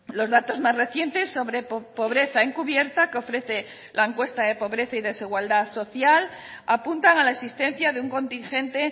los datos más recientes sobre pobreza encubierta que ofrece la encuesta de pobreza y desigualdad social apuntan a la existencia de un contingente